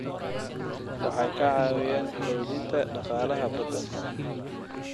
Waxay ka caawiyaan xoojinta dhaqaalaha badda.